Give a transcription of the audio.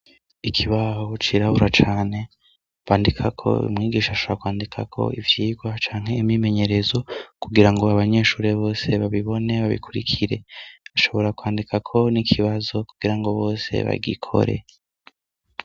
Ikibaho cirabura cane bandika ko bimwigisha ashara kwandikako ivyirwa canke imimenyerezo kugira ngo babanyeshure bose babibone babikurikire ashobora kwandikako n'ikibazo kugira ngo bose bagikore.